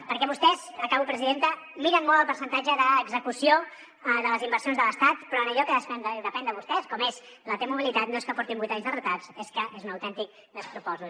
perquè vostès acabo presidenta miren molt el percentatge d’execució de les inversions de l’estat però en allò que depèn de vostès com és la t mobilitat no és que portin vuit anys de retard és que és un autèntic despropòsit